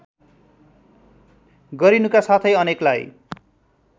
गरिनुका साथै अनेकलाई